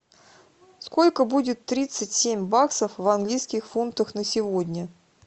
сколько будет тридцать семь баксов в английских фунтах на сегодня